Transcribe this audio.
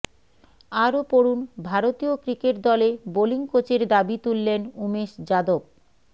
আরও পড়ুন ভারতীয় ক্রিকেট দলে বোলিং কোচের দাবি তুললেন উমেশ যাদব